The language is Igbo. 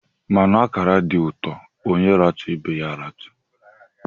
Mmanụ akara dị ụtọ; onye ratụ, ibe ya a ratụ